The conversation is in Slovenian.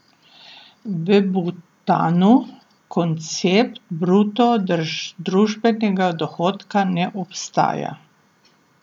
V Butanu koncept bruto družbenega dohodka ne obstaja.